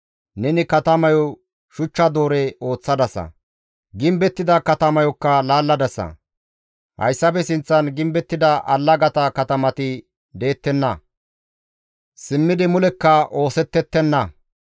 Neni katamayo shuchcha doore ooththadasa; gimbettida katamayokka laalladasa; hayssafe sinththan gimbettida allagata katamati deettenna; Simmidi mulekka oosetettenna.